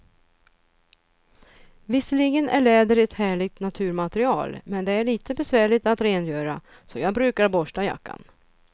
Visserligen är läder ett härligt naturmaterial, men det är lite besvärligt att rengöra, så jag brukar borsta jackan.